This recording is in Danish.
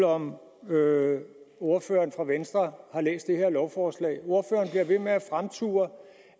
om ordføreren for venstre har læst det her lovforslag ordføreren bliver ved med at fremture